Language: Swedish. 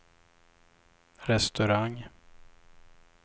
restaurang